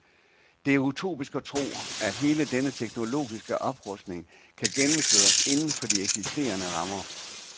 Det er utopisk at tro, at hele denne teknologiske oprustning kan gennemføres inden for de eksisterende rammer.